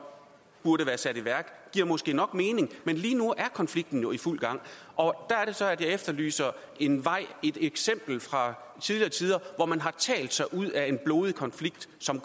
burde være sat i værk giver måske nok mening men lige nu er konflikten jo i fuld gang og der er det så jeg efterlyser en vej et eksempel fra tidligere tider hvor man har talt sig ud af en blodig konflikt som